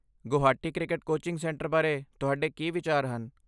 Guwahati cricket coaching centre ਬਾਰੇ ਤੁਹਾਡੇ ਕੀ ਵਿਚਾਰ ਹਨ?